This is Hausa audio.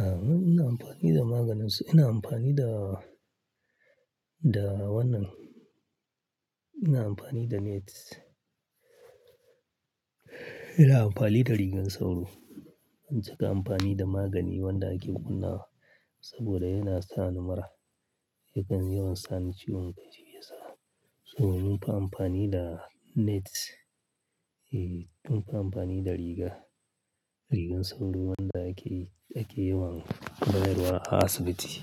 A, mu muna amfani da maganin su. Ina amfani da, da wannan. Ina amfani da net. Ina amfani da rigar sauro. Ban cika amfani da magani wanda ake kunnawa ba saboda yana sa ni mura. Yakan yawan sani ciwon kai shi ya sa. So mun fi amfani da net, eh mun fi amfani da riga, rigar sauro wanda ake, ake yawan bayarwa a asibiti